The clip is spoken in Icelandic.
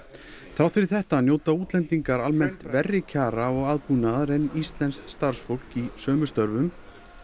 þrátt fyrir þetta njóta útlendingar almennt verri kjara og aðbúnaðar en íslenskt starfsfólk í sömu störfum